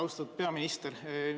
Austatud peaminister!